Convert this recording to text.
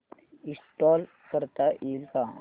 install करता येईल का